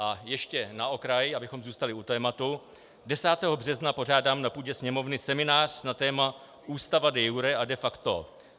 A ještě na okraj, abychom zůstali u tématu, 10. března pořádám na půdě Sněmovny seminář na téma Ústava de iure a de facto.